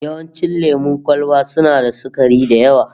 Yawancin lemon kwalba suna da sukari da yawa